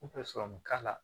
N tɛ sɔrɔmu k'a la